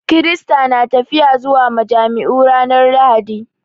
Kirista na tafiya zuwa majami'u ranar Lahadi